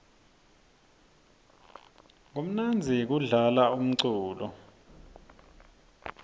kumnandzi kudlala umculo